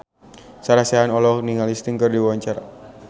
Sarah Sechan olohok ningali Sting keur diwawancara